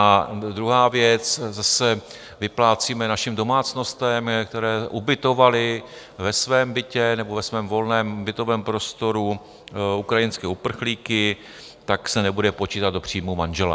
A druhá věc, zase vyplácíme našim domácnostem, které ubytovaly ve svém bytě nebo ve svém volném bytovém prostoru ukrajinské uprchlíky, tak se nebude počítat do příjmu manžela.